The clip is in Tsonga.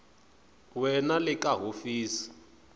we na le ka hofisi